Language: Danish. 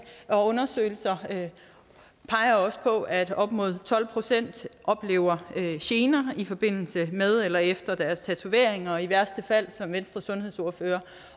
og undersøgelser peger på at op mod tolv procent oplever gener i forbindelse med eller efter deres tatoveringer og i værste fald som venstres sundhedsordfører